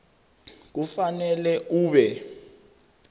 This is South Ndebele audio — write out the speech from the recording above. kufanele ube